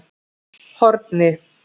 Horni